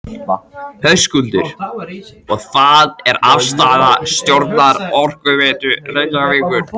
Höskuldur: Og það er afstaða stjórnar Orkuveitu Reykjavíkur?